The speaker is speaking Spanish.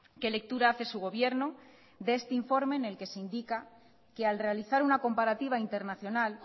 qué lectura hace su gobierno de este informe en el que se indica que al realizar una comparativa internacional